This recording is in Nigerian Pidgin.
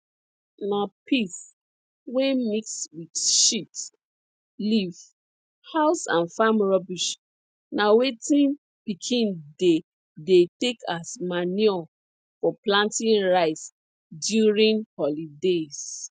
na piss wey mix wit shit leaf house and farm rubbish na wetin pikin dey dey take as manure for planting rice during holidays